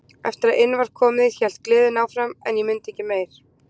Eftir að inn var komið hélt gleðin áfram en ég mundi ekki meir.